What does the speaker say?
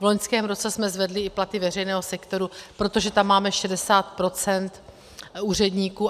V loňském roce jsme zvedli i platy veřejného sektoru, protože tam máme 60 % úředníků.